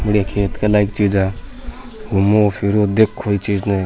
बड़िया खेत का लाइक चीज़ है घूमो फिरो देखो ई चीज न।